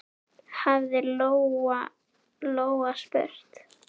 hafði Lóa-Lóa spurt.